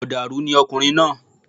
Mọ̀dàrú ni ọkùnrin náà